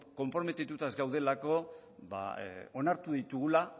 konprometituta ez gaudelako onartu ditugula